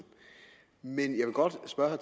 men jeg vil godt spørge